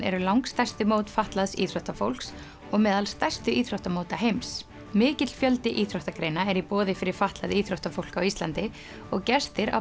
eru langstærstu mót fatlaðs íþróttafólks og meðal stærstu íþróttamóta heims mikill fjöldi íþróttagreina er í boði fyrir fatlað íþróttafólk á Íslandi og gestir á